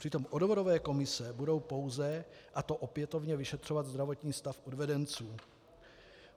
Přitom odvodové komise budou pouze, a to opětovně, vyšetřovat zdravotní stav odvedenců.